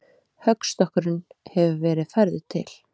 Höggstokkurinn hefur verið færður til.